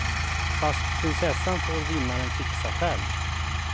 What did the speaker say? Fast prinsessan får vinnaren fixa själv.